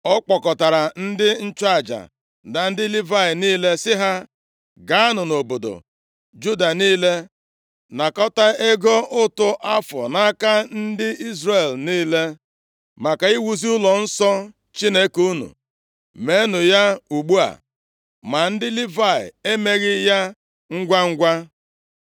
Ọ kpọkọtara ndị nchụaja na ndị Livayị niile sị ha, “Gaanụ nʼobodo Juda niile nakọta ego ụtụ afọ nʼaka ndị Izrel niile, maka iwuzi ụlọnsọ Chineke unu. Meenụ ya ugbu a.” Ma ndị Livayị emeghị ya ngwangwa.